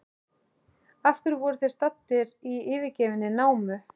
Af hverju voru þeir staddir í yfirgefinni námu?